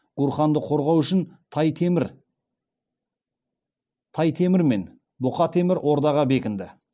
гурханды қорғау үшін тай темір мен бұқа темір ордаға бекінді